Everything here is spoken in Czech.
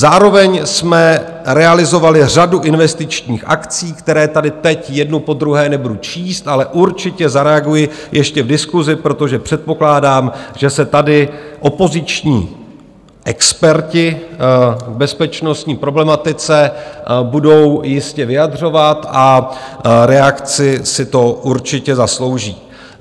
Zároveň jsme realizovali řadu investičních akcí, které tady teď jednu po druhé nebudu číst, ale určitě zareaguji ještě v diskusi, protože předpokládám, že se tady opoziční experti v bezpečnostní problematice budou jistě vyjadřovat, a reakci si to určitě zaslouží.